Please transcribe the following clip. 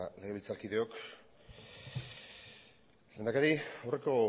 legebiltzarkideok lehendakari aurreko